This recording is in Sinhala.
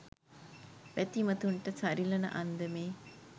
බැතිමතුන්ට සරිලන අන්දමේ